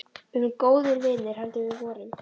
Við erum góðir vinir heldur við vorum.